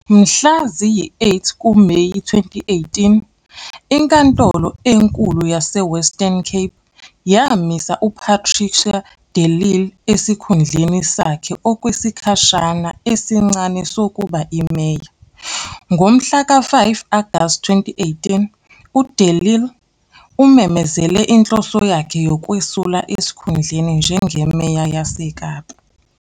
Mhla ziyi-8 kuMeyi 2018, Inkantolo Enkulu YaseWestern Cape yamisa UPatricia de Lille esikhundleni sakhe okwesikhashana esincane sokuba imeya. Ngomhlaka 5 Agasti 2018, uDe Lille umemezele inhloso yakhe yokwesula esikhundleni njengeMeya yaseKapa.